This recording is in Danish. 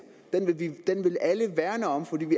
den vil alle værne om fordi